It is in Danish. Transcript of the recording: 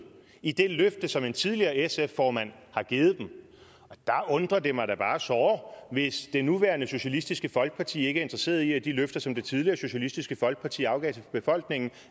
i det løfte som en tidligere sf formand har givet dem der undrer det mig da bare såre hvis det nuværende socialistisk folkeparti ikke er interesseret i at de løfter som det tidligere socialistisk folkeparti afgav til befolkningen